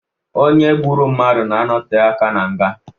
Onye gburu mmadụ na-anote aka na nga.